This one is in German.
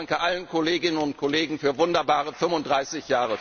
Ich danke allen Kolleginnen und Kollegen für wunderbare 35